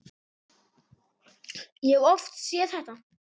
Ég hef oft séð þetta.